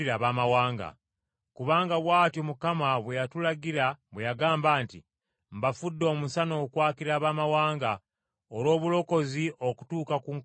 Kubanga bw’atyo Mukama bwe yatulagira bwe yagamba nti, “ ‘Mbafudde omusana okwakira Abaamawanga, olw’obulokozi okutuuka ku nkomerero y’ensi.’ ”